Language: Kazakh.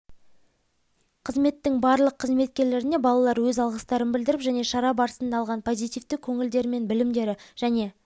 қызметтің барлық қызметкерлеріне балалар өз алғыстарын білдіріп және шара барысында алған позитивтік көңілдері мен білімдері және